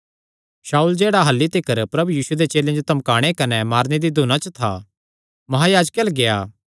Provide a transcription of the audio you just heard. शाऊल जेह्ड़ा अह्ल्ली तिकर प्रभु यीशुये दे चेलेयां जो धमकाणे कने मारने दी धुना च था महायाजके अल्ल गेआ